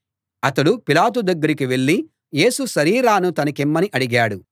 అతడు పిలాతు దగ్గరికి వెళ్ళి యేసు శరీరాన్ని తనకిమ్మని అడిగాడు